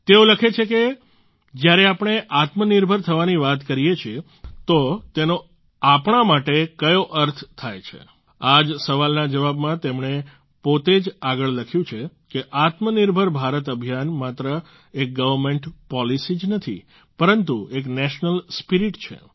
તેઓ લખે છે કે જ્યારે આપણે આત્મનિર્ભર થવાની વાત કરીએ છીએ તો તેનો આપણે માટે કયો અર્થ થાય છે આ જ સવાલના જવાબમાં તેમણે પોતે જ આગળ લખ્યું છે કે આત્મનિર્ભર ભારત અભિયાન માત્ર એક ગવર્મેન્ટ પોલીસી જ નથી પરંતુ એક નેશનલ સ્પિરિટ છે